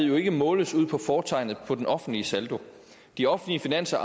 jo ikke måles på fortegnet på den offentlige saldo de offentlige finanser